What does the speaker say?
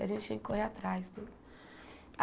Que a gente tinha que correr atrás.